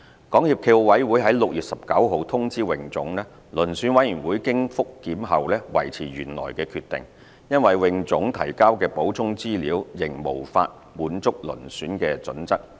港協暨奧委會於6月19日通知泳總，遴選委員會經覆檢後維持原來決定，因為泳總提交的補充資料仍無法滿足遴選準則。